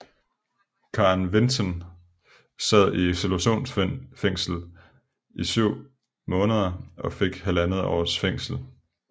Karen Vinten sad i isolationsfængsel i 7 måneder og fik halvandet års fængsel